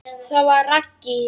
Það var Raggý.